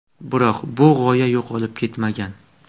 Biroq, bu g‘oya yo‘qolib ketmagan.